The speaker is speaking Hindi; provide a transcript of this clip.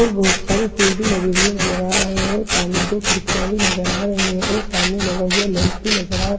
और बहुत सारे फूल भी लगे हुए नजर आ रहे हैं और सामने दो खिड़कियां भी नजर आ रही हैं और सामने लगा हुआ लैम्प भी नजर आ रहा है।